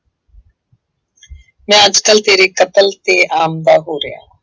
ਮੈਂ ਅੱਜ ਕੱਲ੍ਹ ਤੇਰੇ ਕਤਲ ਤੇ ਹੋ ਰਿਹਾਂ।